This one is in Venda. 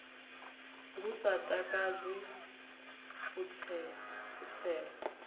lu sa takadzi u tsela